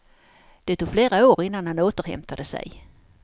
Det tog flera år innan han återhämtade sig.